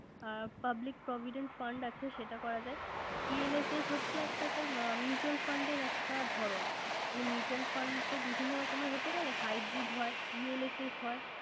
অ Public providant fund আছে সেটা করা যায়। ELSS হচ্ছে একটা sir mutual fund এর একটা ধরন। মানে mutual fund বিভিন্ন রকমের হতে পারে। Hybrid হয় ELSS হয়,